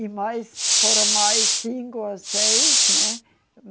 E mais, foram mais cinco ou seis, né?